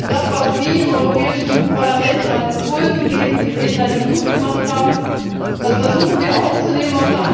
Das, was Sie im Europäischen Parlament an Impulsen geben, die Redner, die Mut gemacht haben das versuchen wir aufzunehmen.